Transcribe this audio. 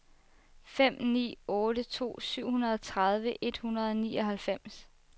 fem ni otte to syvogtredive et hundrede og nioghalvfems